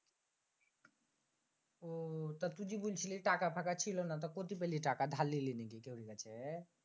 আহ তুই যে বলছিলি টাকা পাকা ছিলনা। তা কোথেকে পেলি টাকা দার লিলি নাকি কেউ থেকে?